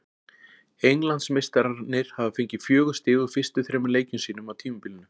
Englandsmeistararnir hafa fengið fjögur stig úr fyrstu þremur leikjum sínum á tímabilinu.